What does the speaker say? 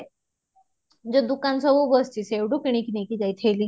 ଯୋଉ ଦୋକାନ ସବୁ ବସିଛି ସେଇଠୁ କିଣିକି ନେଇକି ଯାଇଥିଲି